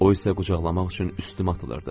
O isə qucaqlamaq üçün üstümə atılırdı.